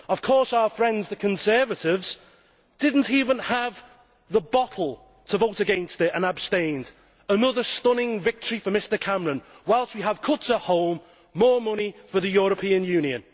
Of course, our friends the Conservatives did not even have the bottle to vote against this, and abstained, in another stunning victory for Mr Cameron whilst we have cuts at home, more money for the European Union.